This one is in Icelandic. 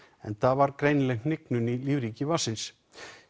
enda greinileg hnignun í lífríki vatnsins